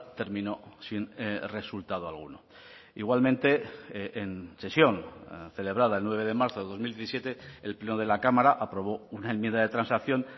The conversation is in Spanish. terminó sin resultado alguno igualmente en sesión celebrada el nueve de marzo de dos mil diecisiete el pleno de la cámara aprobó una enmienda de transacción